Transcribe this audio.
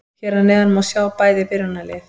Hér að neðan má sjá bæði byrjunarlið.